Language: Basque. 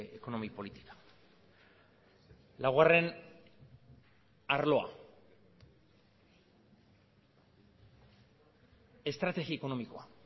ekonomi politika laugarren arloa estrategi ekonomikoa